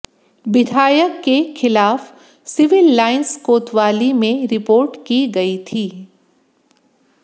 विधायक के खिलाफ सिविल लाइंस कोतवाली में रिपोर्ट की गई थी